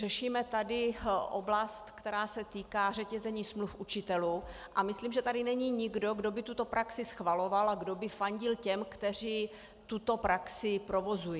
Řešíme tady oblast, která se týká řetězení smluv učitelů, a myslím, že tady není nikdo, kdo by tuto praxi schvaloval a kdo by fandil těm, kteří tuto praxi provozují.